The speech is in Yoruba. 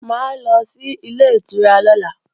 Mà á lọ sí Ilé-ìtura lọ́la